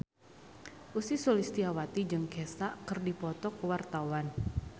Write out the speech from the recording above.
Ussy Sulistyawati jeung Kesha keur dipoto ku wartawan